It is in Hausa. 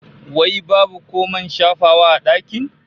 Wai babu ko man shafawa a dakin?